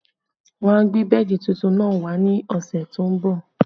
Wọ́n a gbé bẹ́ẹ̀dì tuntun náà wá ní ọ̀sẹ̀ tó ń bọ̀